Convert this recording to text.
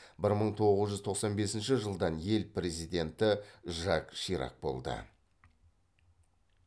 бір мың тоғыз жүз тоқсан бесінші жылдан ел президенті жак ширак болды